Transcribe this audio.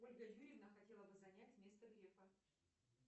ольга юрьевна хотела бы занять место грефа